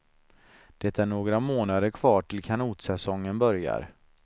Det är några månader kvar till kanotsäsongen börjar.